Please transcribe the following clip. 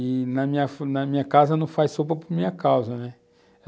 E na fa na minha casa não faz sopa por minha causa, né?